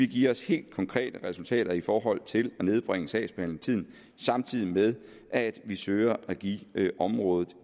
give os helt konkrete resultater i forhold til at nedbringe sagsbehandlingstiden samtidig med at vi søger at give området